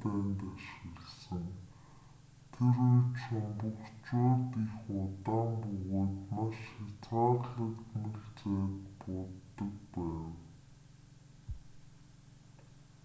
дайнд ашигласан тэр үед шумбагчууд их удаан бөгөөд маш хязгаарлагдмал зайд бууддаг байв